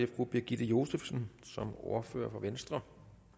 fru birgitte josefsen som ordfører for venstre